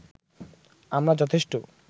আমরা যথেষ্ট